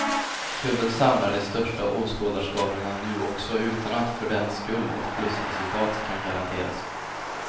Klubben samlar de största åskådarskarorna nu också, utan att för den skull ett plusresultat kan garanteras.